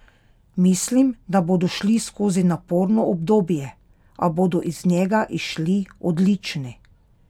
Mislim, da bodo šli skozi naporno obdobje, a bodo iz njega izšli odlični!